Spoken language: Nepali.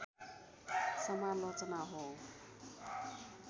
समालोचना हो